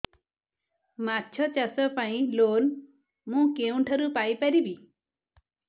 ମାଛ ଚାଷ ପାଇଁ ଲୋନ୍ ମୁଁ କେଉଁଠାରୁ ପାଇପାରିବି